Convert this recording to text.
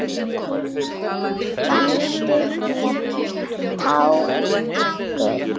Sendu mér tákn guð.